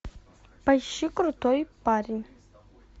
поищи крутой парень